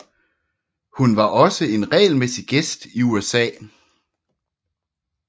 Hun var også en regelmæssig gæst i USA